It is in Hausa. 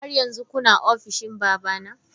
Har yanzu kuna ofishin babana?